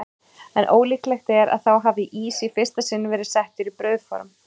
En ólíklegt er að þá hafi ís í fyrsta sinn verið settur í brauðform.